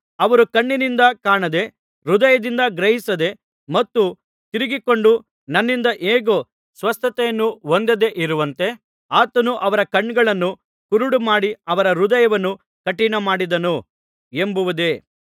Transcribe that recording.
ಅವರು ಕಣ್ಣಿನಿಂದ ಕಾಣದೆ ಹೃದಯದಿಂದ ಗ್ರಹಿಸದೆ ಮತ್ತು ತಿರುಗಿಕೊಂಡು ನನ್ನಿಂದ ಹೇಗೂ ಸ್ವಸ್ಥತೆಯನ್ನು ಹೊಂದದೆ ಇರುವಂತೆ ಆತನು ಅವರ ಕಣ್ಣುಗಳನ್ನು ಕುರುಡುಮಾಡಿ ಅವರ ಹೃದಯವನ್ನು ಕಠಿಣಮಾಡಿದನು ಎಂಬುದೇ